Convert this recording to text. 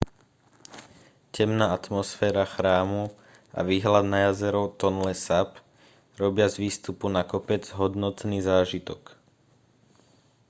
temná atmosféra chrámu a výhľad na jazero tonle sap robia z výstupu na kopec hodnotný zážitok